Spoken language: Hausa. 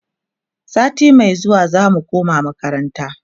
sati Mai zuwa zamu koma makaranta